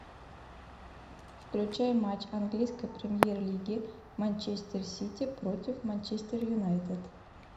включай матч английской премьер лиги манчестер сити против манчестер юнайтед